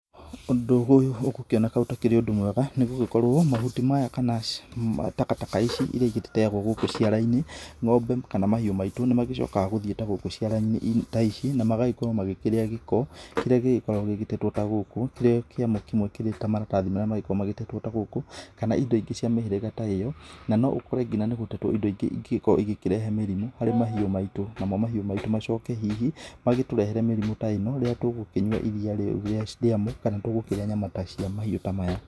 Ũndũ ũyũ ũgũkĩoneka ũtakĩrĩ ũndũ mwega nĩ gũgĩkorwo mahuti maya kana takataka ici iria igĩteagwo gũkũ ciara-inĩ, ngombe kana mahiũ maitũ nĩ magĩcokaga gũthiĩ ta gũkũ ciara-inĩ ta ici na magagĩkorwo magĩkĩrĩa gĩko, kĩrĩa gĩgĩkoragwo gĩgĩtetwo ta gũkũ, kĩrĩa kĩamo kĩmwe kĩrĩ ta maratathi marĩa magĩkoragwo matetwo ta gũkũ, kana indo ingĩ cia mĩhĩrĩga ta ĩyo na no ũkore nginya nĩ gũtetwo indo ingĩ ingĩgĩkorwo ĩkĩrehe mĩrimũ harĩ mahiũ maitũ, namo mahiũ maitũ macoke hihi magĩtũrehere mĩrimũ ta ĩno rĩrĩa tũgũkĩnyua iria rĩu rĩamo kana tũgũkĩrĩa nyama cia mahiũ ta maya